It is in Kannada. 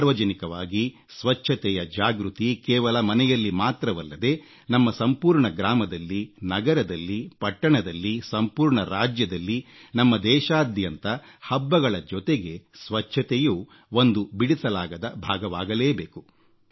ಸಾರ್ವಜನಿಕವಾಗಿ ಸ್ವಚ್ಛತೆಯ ಜಾಗೃತಿ ಕೇವಲ ಮನೆಯಲ್ಲಿ ಮಾತ್ರವಲ್ಲದೆ ನಮ್ಮ ಸಂಪೂರ್ಣ ಗ್ರಾಮದಲ್ಲಿ ನಗರದಲ್ಲಿ ಪಟ್ಟಣದಲ್ಲಿ ಸಂಪೂರ್ಣ ರಾಜ್ಯದಲ್ಲಿ ನಮ್ಮ ದೇಶಾದ್ಯಂತ ಹಬ್ಬಗಳ ಜೊತೆಗೆ ಸ್ವಚ್ಛತೆಯೂ ಒಂದು ಬಿಡಿಸಲಾಗದ ಭಾಗವಾಗಲೇಬೇಕು